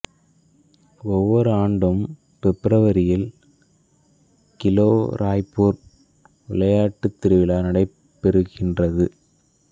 ஒவ்வொரு ஆண்டும் பெப்ரவரியில் கிலா ராய்பூர் விளையாட்டுத் திருவிழா நடைபெறுகின்றது